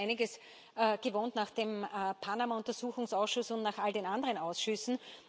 Wir sind ja schon einiges gewohnt nach dem Panama Untersuchungsausschuss und nach all den anderen Ausschüssen.